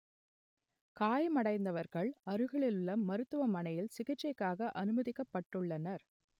காயமடைந்தவர்கள் அருகிலுள்ள மருத்துவமனையில் சிகிச்சைக்காக அனுமதிக்கப்பட்டுள்ளனர்